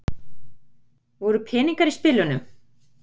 Voru peningar í spilunum?